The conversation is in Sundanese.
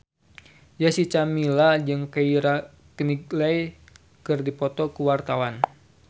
Jessica Milla jeung Keira Knightley keur dipoto ku wartawan